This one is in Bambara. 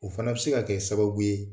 O fana bɛ se ka kɛ sababu ye